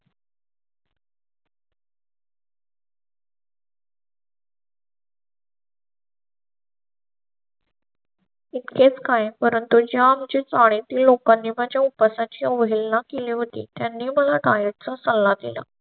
इतकेच काय? परंतु जे आमच्या शाळेतील लोकांनी आमच्या उपवासा ची अवहेलना केली. त्यांनी मला diet चा सल्ला दिला.